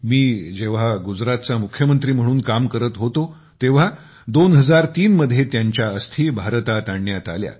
मी जेव्हा गुजरातचा मुख्यमंत्री म्हणून काम करत होतो तेव्हा 2003 मध्ये त्यांच्या अस्थी भारतात आणण्यात आल्या